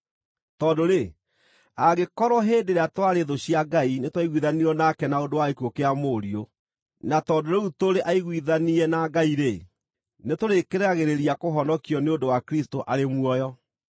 Tondũ-rĩ, angĩkorwo hĩndĩ ĩrĩa twarĩ thũ cia Ngai nĩtwaiguithanirio nake na ũndũ wa gĩkuũ kĩa Mũriũ, na tondũ rĩu tũrĩ aiguithanie na Ngai-rĩ, nĩtũrĩkĩragĩrĩria kũhonokio nĩ ũndũ Kristũ arĩ muoyo.